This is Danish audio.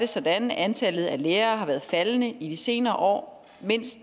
sådan at antallet af lærere har været faldende i de senere år mens